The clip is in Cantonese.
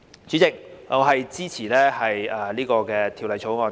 主席，我支持這項《條例草案》。